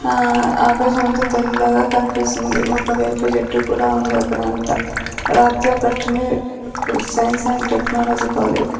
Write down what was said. ఆ ఆకాశమంత తెల్లగా కనిపిస్తుంది ఒక వేప చెట్టు కూడా ఉంది అక్కడంతా రాతితో కట్టిండే సైన్స్ అండ్ టెక్నాలజీ కాలేజ్ .